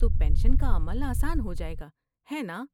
تو پنشن کا عمل آسان ہو جائے گا، ہے ناں؟